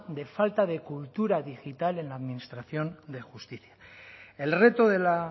de falta de cultura digital en la administración de justica el reto de la